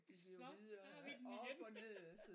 Så tager vi den igen!